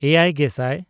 ᱮᱭᱟᱭᱼᱜᱮᱥᱟᱭ